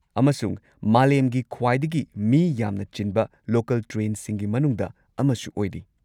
ꯑꯃꯁꯨꯡ ꯃꯥꯂꯦꯝꯒꯤ ꯈ꯭ꯋꯥꯏꯗꯒꯤ ꯃꯤ ꯌꯥꯝꯅ ꯆꯤꯟꯕ ꯂꯣꯀꯜ ꯇ꯭ꯔꯦꯟꯁꯤꯡꯒꯤ ꯃꯅꯨꯡꯗ ꯑꯃꯁꯨ ꯑꯣꯏꯔꯤ꯫